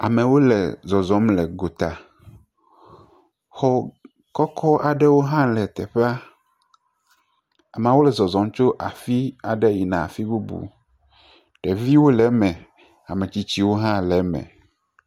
Amewo le zɔzɔm le gota. Xɔ kɔkɔ aɖewo hã le teƒea. Ameawo le zɔzɔm tso afi aɖe yina afi bubu. Ɖeviwo le eme, ame tsitsiwo hã le eme.